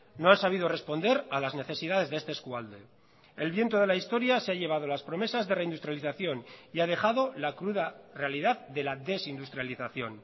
no han sabido responder a las necesidades de este eskualde el viento de la historia se ha llevado las promesas de reindustrialización y ha dejado la cruda realidad de la desindustrialización